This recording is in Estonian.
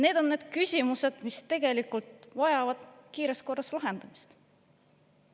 Need on need küsimused, mis tegelikult vajavad kiiremas korras lahendamist.